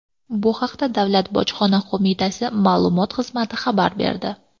Bu haqda Davlat bojxona qo‘mitasi matbuot xizmati xabar berdi .